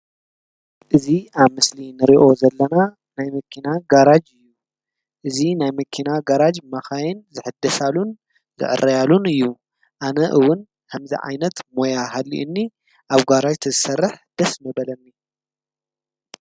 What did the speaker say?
እዚ አብ ምስሊ ንሪኦ ዘለና ናይ መኪና ጋርዥ እዩ። እዚ ናይ መኪና ጋርዥ መካይን ዝሕደሳሉን ዝዕረያሉን እዩ። አነ እውን ከምዚ ዓይነት ሞያ ሃሊኡኒ አብ ጋርዥ ተዝሰርሕ ደስ ምበለኒ።